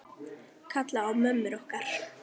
Kalla á mömmur okkar?